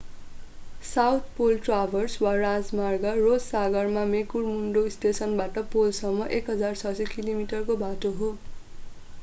South pole traverse वा राजमार्ग Ross सागरमा मेकमुर्डो स्टेसनबाट पोलसम्म 1600 कि.मी. को बाटो हो।